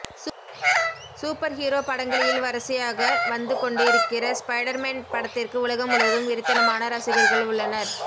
super hero படங்களியில் வரிசையகாக வந்து கொண்டு இருக்கற ஸ்பைடர்மேன் படத்திற்கு உலகம் முழுவதும் வெறித்தனமாரசிகர்கள் உள்ளனர்